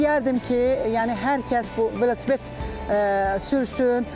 İstəyərdim ki, yəni hər kəs bu velosiped sürsün.